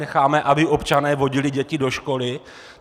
Necháme, aby občané vodili děti do školy?